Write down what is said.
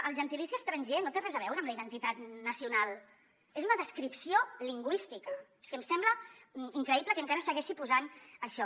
el gentilici estranger no té res a veure amb la identitat nacional és una descripció lingüística és que em sembla increïble que encara segueixi posant això